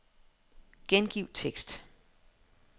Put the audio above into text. Gengiv tekst.